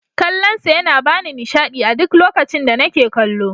Kallon sa yana bani nishaɗi a duk lokacin da nake kallo.